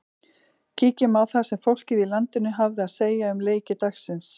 Kíkjum á það sem fólkið í landinu hafði að segja um leiki dagsins.